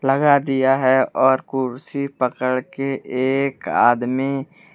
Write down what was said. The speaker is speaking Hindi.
लगा दिया है और कुर्सी पकड़ के एक आदमी--